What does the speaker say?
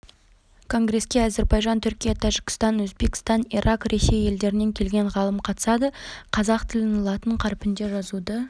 конгреске әзербайжан түркия тәжікстан өзбекстан ирак ресей елдерінен келген ғалым қатысады қазақ тілін латын қарпінде жазуды